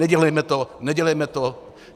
Nedělejme to, nedělejme to.